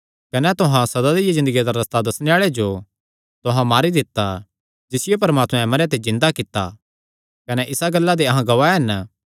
कने तुहां सदा दी ज़िन्दगिया दा रस्ता दस्सणे आल़े जो तुहां मारी दित्ता जिसियो परमात्मैं मरेयां ते जिन्दा कित्ता कने इसा गल्ला दे अहां गवाह हन